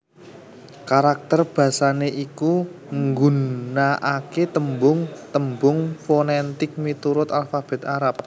Karakter basané iku nggunakaké tembung tembung fonètik miturut alfabèt Arab